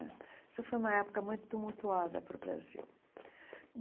Isso foi uma época muito tumultuada para o Brasil.